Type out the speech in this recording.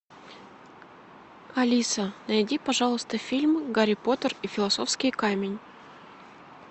алиса найди пожалуйста фильм гарри поттер и философский камень